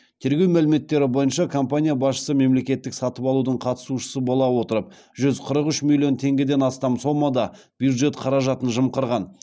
тергеу мәліметтері бойынша компания басшысы мемлекеттік сатып алудың қатысушысы бола отырып жүз қырық үш миллион теңгеден астам сомада бюджет қаражатын жымқырған